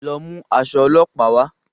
Lọ mú aṣọ olópàá wà